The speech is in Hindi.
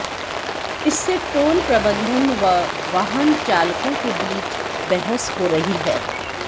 इससे टोल प्रबंधन व वाहन चालकों के बीच बहस हो रही है